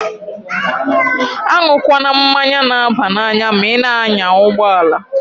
A nwukwana mmanya na-aba n'anya ma i na-anya ụgbọalaǃ